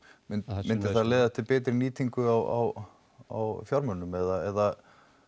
myndi það myndi það leiða til betri nýtingar á á fjármunum eða